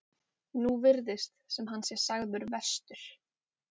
Núna virðist sem hann sé sagður verstur.